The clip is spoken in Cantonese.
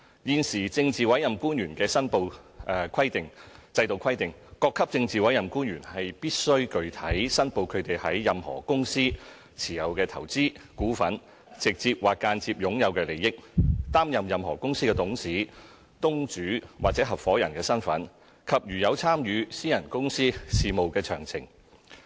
現時政治委任官員的申報制度規定，各級政治委任官員必須具體申報他們在任何公司持有的投資、股份、直接或間接擁有的利益；擔任任何公司的董事、東主或合夥人身份；以及如有參與私人公司事務的詳情。